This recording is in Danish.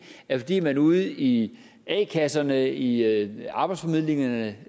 er fordi man ude i a kasserne i i arbejdsformidlingerne